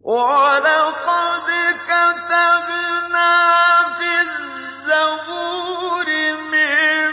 وَلَقَدْ كَتَبْنَا فِي الزَّبُورِ مِن